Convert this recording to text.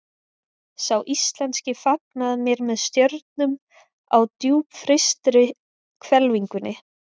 Sá íslenski fagnaði mér með stjörnum á djúpfrystri hvelfingunni.